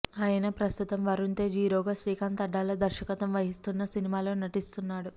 అయన ప్రస్తుతం వరుణ్ తేజ్ హీరోగా శ్రీకాంత్ అడ్డాల దర్శకత్వం వహిస్తున్న సినిమాలో నటిస్తున్నాడు